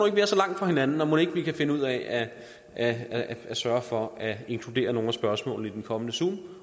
at vi er så langt fra hinanden og mon ikke vi kan finde ud af at sørge for at inkludere nogle af spørgsmålene i den kommende zoom